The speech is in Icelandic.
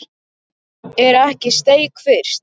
Er ekki steik fyrst?